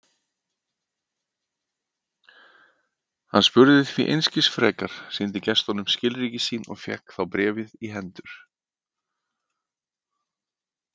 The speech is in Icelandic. Hann spurði því einskis frekar, sýndi gestinum skilríki sín og fékk þá bréfið í hendur.